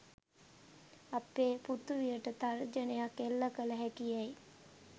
අපේ පෘථිවියට තර්ජනයක් එල්ල කළ හැකි යැයි